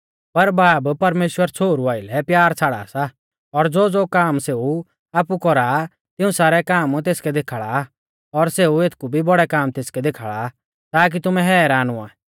पर बाब परमेश्‍वर छ़ोहरु आइलै प्यार छ़ाड़ा सा और ज़ोज़ो काम सेऊ आपु कौरा आ तिऊं सारै काम तेसकै देखाल़ा आ और सेऊ एथकु भी बौड़ै काम तेसकै देखाल़ा ताकी तुमै हैरान हुआ